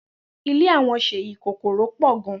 Ile awon Seyi kokoro po gan.